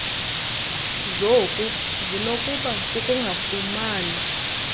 zoku zinokuba kukungafumani